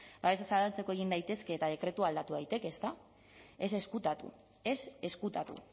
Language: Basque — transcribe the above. babesa zabaltzeko egin daitezke eta dekretua aldatu daiteke ezta ez ezkutatu ez ezkutatu